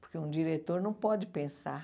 Porque um diretor não pode pensar.